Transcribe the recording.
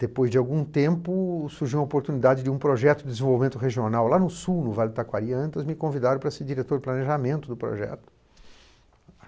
Depois de algum tempo, surgiu a oportunidade de um projeto de desenvolvimento regional lá no sul, no Vale do Itacoariantas, me convidaram para ser diretor de planejamento do projeto.